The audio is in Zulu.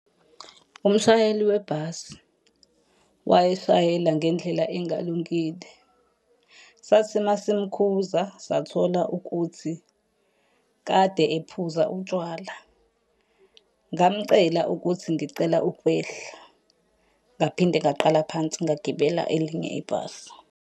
Umshayeli webhasi wayeshayela ngendlela engalungile, sathi uma simukhuza sathola ukuthi kade ephuza utshwala. Ngamcela ukuthi ngicela ukwehla. Ngaphinde ngaqala phansi ngagibela elinye ibhasi.